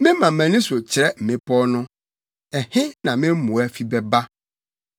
Mema mʼani so kyerɛ mmepɔw no, ɛhe na me mmoa fi bɛba?